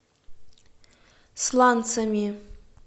сланцами